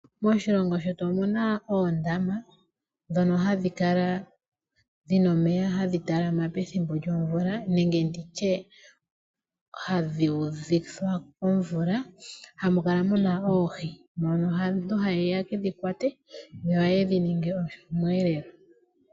Moshilongo shetu omuna oondama ndhono hadhi kala dhina omeya hadhi talama pethimbo lyomvula nenge nditye hadhi udhithwa komvula. Hamu kala munaoohi mono aantu hayeya yekedhi kwate nohayedhi ningi omuelelo.